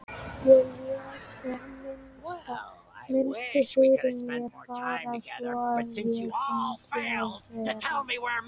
Ég lét sem minnst fyrir mér fara svo að ég fengi að vera.